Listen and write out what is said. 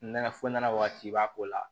Nɛnɛ fo nɛnɛ waati b'a ko la